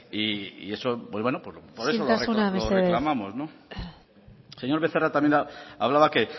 y por eso lo reclamamos isiltasuna mesedez señor becerra también hablaba que